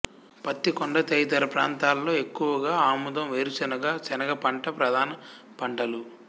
పత్తికొండ తదితర ప్రాంతాల్లో ఎక్కువగా ఆముదం వేరుశనగ శనగ పంట ప్రధాన పంటలు